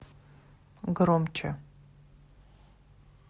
громче